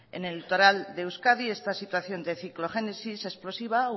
en el litoral de euskadi esta situación de ciclogénesis explosiva